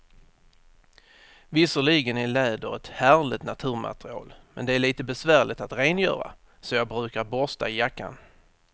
Visserligen är läder ett härligt naturmaterial, men det är lite besvärligt att rengöra, så jag brukar borsta jackan.